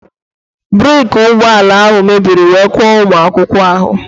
Breeki ụgbọala ahụ mebiri wee kụọ ụmụ akwụkwọ ahụ